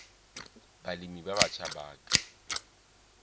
balemi ba batjha ba ka